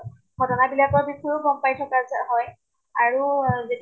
ঘ্তনা বিলাকৰ বিষয়েও গম পাই থকে যা হয়। আৰু